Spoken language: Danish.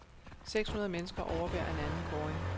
Seks hundrede mennesker overværer en anden kåring.